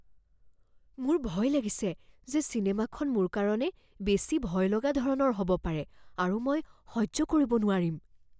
মোৰ ভয় লাগিছে যে চিনেমাখন মোৰ কাৰণে বেছি ভয়লগা ধৰণৰ হ'ব পাৰে আৰু মই সহ্য কৰিব নোৱাৰিম।